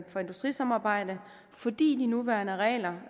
for industrisamarbejde fordi de nuværende regler